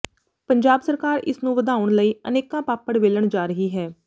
ਪੰਜਾਬ ਸਰਕਾਰ ਇਸ ਨੂੰ ਵਧਾਉਣ ਲਈ ਅਨੇਕਾਂ ਪਾਪੜ ਵੇਲਣ ਜਾ ਰਹੀ ਹੈ